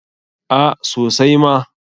A sosai ma.